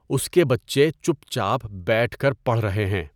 اس کے بچّے چُپ چاپ بیٹھ کر پڑھ رہے ہیں۔